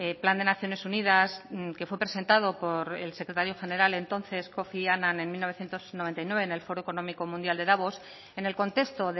plan de naciones unidas que fue presentado por el secretario general entonces kofi annan en mil novecientos noventa y nueve en el foro económico mundial de davos en el contexto